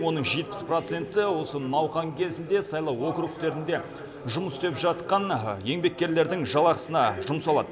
оның жетпіс проценті осы науқан кезінде сайлау округтерінде жұмыс істеп жатқан еңбеккерлердің жалақысына жұмсалады